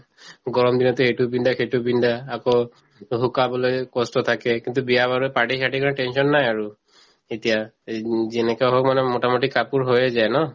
গৰম দিনততো এইটো পিন্ধা সেইটো পিন্ধা আকৌ শুকাবলৈ কষ্ট থাকে কিন্তু বিয়া বাৰু party চাৰ্টিৰ কাৰণে tension নাই আৰু এতিয়া এই উম যেনেকা হওক মানে মোটামটি কাপোৰ হয়ে যায় ন